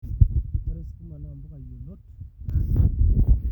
ore sukuma na mpuka yiolot naanyai oleng